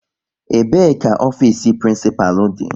Ebee ka ofiisi prinsipalu dị?